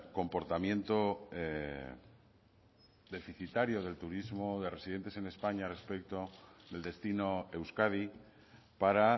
comportamiento deficitario del turismo de residentes en españa respecto del destino euskadi para